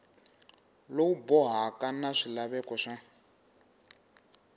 lowu bohaka na swilaveko swa